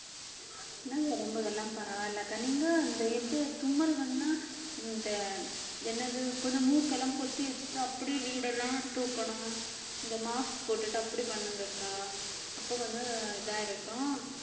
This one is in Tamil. எனக்கு உடம்புக்கெல்லாம் பரவாயில்லக்கா நீங்க இந்த இது தும்மல் வந்தா இந்த என்னது கொஞ்சம் மூக்கெல்லாம் பொத்தி வச்சுட்டு அப்படியே வீடெல்லாம் தூக்கணும் இந்த mask போட்டுட்டு அப்படி பண்ணுங்கக்கா அப்ப கொஞ்சம் இதா இருக்கும்.